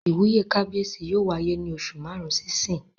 Ìwúyè kábíyèsí yóò wáyé ní oṣù màrún sí ìsín